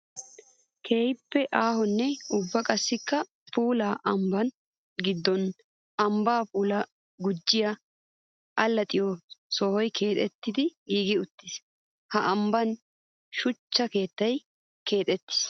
Keehippe aahonne ubba qassikka puulla ambban giddon ambba puula gujjiya alaxxiyo sohoy keexxettiddi giigi uttiis. Ha ambban shuchcha keettay keexettiis.